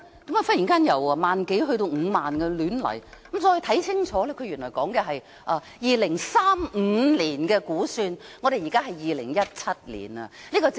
為何忽然由1萬多輛增至5萬輛，再看清楚，原來它是指2035年的估算，現在是2017年，這個政府是發夢的！